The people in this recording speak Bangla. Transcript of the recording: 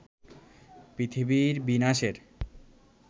পৃথিবীর বিনাশের